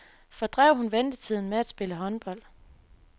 Fordrev hun ventetiden med at spille håndbold.